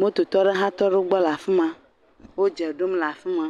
Lototɔ aɖewo hã tɔ ɖe egbe le afi ma. Wodze ɖom le afi ma.